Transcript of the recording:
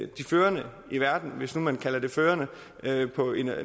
de førende i verden hvis nu man kalder det førende